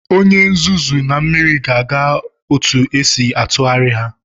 Onye nzuzu na mmiri ga-aga otu esi atụgharị.